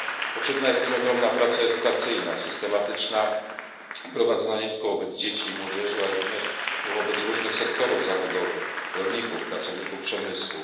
Potrzebna jest też ogromna praca edukacyjna, systematyczna, prowadzona nie tylko wobec dzieci i młodzieży, ale również wobec różnych sektorów zawodowych rolników, pracowników przemysłu.